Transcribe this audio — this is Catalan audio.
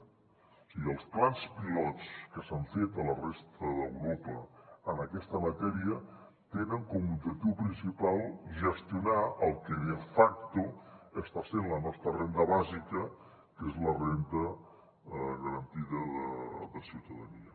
o sigui els plans pilots que s’han fet a la resta d’europa en aquesta matèria tenen com a objectiu principal gestionar el que de facto està sent la nostra renda bàsica que és la renda garantida de ciutadania